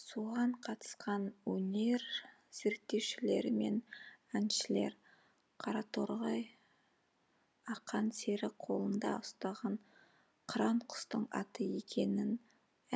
соған қатысқан өнер зерттеушілері мен әншілер қараторғай ақан сері қолында ұстаған қыран құстың аты екенін